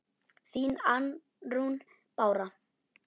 Þín, Arnrún Bára.